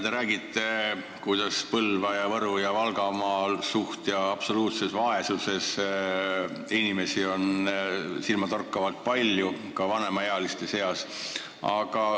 Te räägite, et Põlva-, Võru- ja Valgamaal on suhtelises ja absoluutses vaesuses elavaid inimesi silmatorkavalt palju ka vanemaealiste seas.